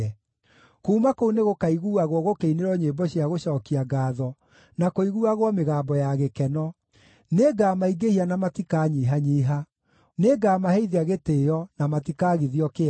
Kuuma kũu nĩgũkaiguuagwo gũkĩinĩrwo nyĩmbo cia gũcookia ngaatho, na kũiguuagwo mĩgambo ya gĩkeno. Nĩngamaingĩhia na matikanyihanyiiha; nĩngamaheithia gĩtĩĩo, na matikaagithio kĩene.